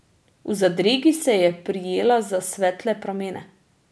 V zadregi se je prijela za svetle pramene.